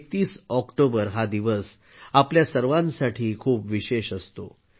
31 October हा दिवस आपल्या सर्वांसाठी खूप विशेष असतो